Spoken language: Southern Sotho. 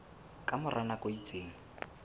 ka mora nako e itseng